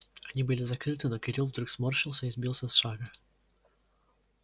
они были закрыты но кирилл вдруг сморщился и сбился с шага